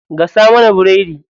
Gasa mana biredi.